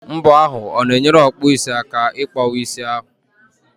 Mbọ ahụ o na-enyere ọkpụisi aka ị kpọwa isi ahụ?